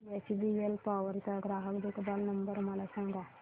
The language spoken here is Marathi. एचबीएल पॉवर चा ग्राहक देखभाल नंबर मला सांगा